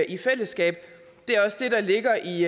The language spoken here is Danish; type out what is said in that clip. i fællesskab det er også det der ligger i